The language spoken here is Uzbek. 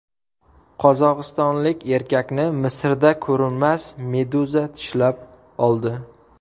Qozog‘istonlik erkakni Misrda ko‘rinmas meduza tishlab oldi.